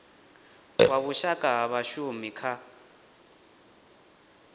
wa vhushaka ha vhashumi kha